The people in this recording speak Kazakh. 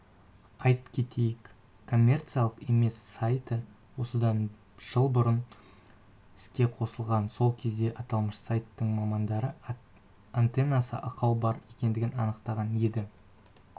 айт кетейік коммерциялық емес сайты осыдан жыл бұрын іске қосылған сол кезде аталмыш сайттың мамандары антеннасында ақау бар екендігін анықтаған еді